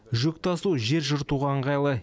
жүк тасу жер жыртуға ыңғайлы